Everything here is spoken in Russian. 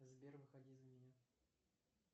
сбер выходи за меня